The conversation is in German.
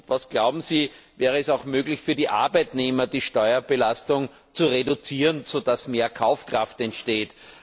Was glauben Sie, wäre es auch möglich, für die Arbeitnehmer die Steuerbelastung zu reduzieren, so dass mehr Kaufkraft entsteht?